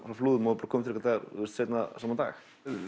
á Flúðum og er komin til okkar seinna sama dag